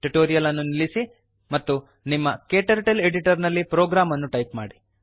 tutorial ಅನ್ನು ನಿಲ್ಲಿಸಿ ಮತ್ತು ನಿಮ್ಮ ಕ್ಟರ್ಟಲ್ editorನಲ್ಲಿ ಪ್ರೋಗ್ರಾಮ್ ಅನ್ನು ಟೈಪ್ ಮಾಡಿ